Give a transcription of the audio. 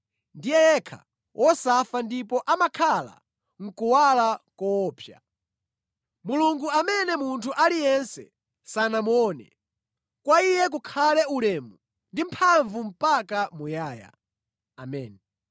Ndiye yekha wosafa ndipo amakhala mʼkuwala koopsa. Mulungu amene munthu aliyense sanamuone. Kwa Iye kukhale ulemu ndi mphamvu mpaka muyaya. Ameni.